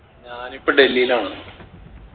ഞാൻ ഇപ്പൊ ഡൽഹീലാന്ന്